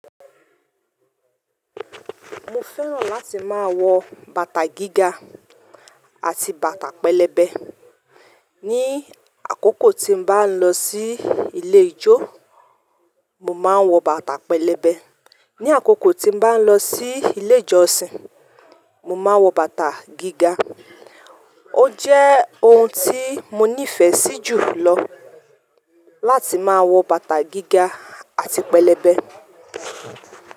Mo fẹ́ràn láti máa wọ bàtà gíga àti bàtà pẹlẹbẹ. Ni àkókò tí n bá n lọ sí ilé ijó, mo máa n wọ bàtà pẹlẹbẹ. Ni àkókò tí n bá n lọ sí ilé ìjọsìn, mo máa n wọ bàtà gíga. O jẹ́ ohun tí mo nífẹ̀ẹ́ sí jùlọ láti máa wọ bàtà gíga àti pẹlẹbẹ.